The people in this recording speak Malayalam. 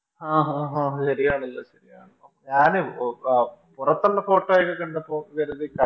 ആഹ് ആഹ് ആഹ് ശെരിയാണല്ലോ ശെരിയാണല്ലോ ഞാൻ ഓ അഹ് പുറത്തൊള്ള Photo ഒക്കെ കണ്ടപ്പോ കരുതി